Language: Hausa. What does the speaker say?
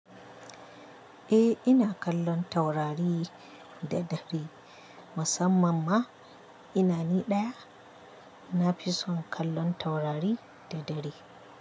Eh ina kallon taurari da dare. Musamman ma ina ni ɗaya, na fi son kallon taurari da dare.